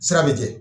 Sira be kɛ